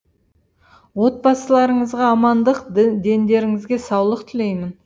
отбасыларыңызға амандық дендеріңізге саулық тілеймін